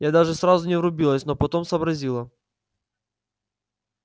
я даже сразу не врубилась но потом сообразила